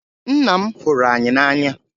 Ńnà m hụrụ anyị na anya.